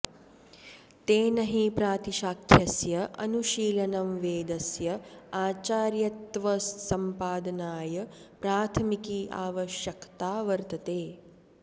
तेन हि प्रातिशाख्यस्य अनुशीलनं वेदस्य आचार्यत्वसम्पादनाय प्राथमिकी आवश्यकता वर्तते